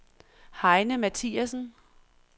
Heine Mathiassen